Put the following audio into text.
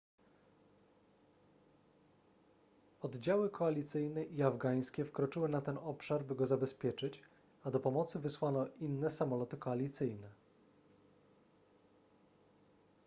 oddziały koalicyjne i afgańskie wkroczyły na ten obszar by go zabezpieczyć a do pomocy wysłano inne samoloty koalicyjne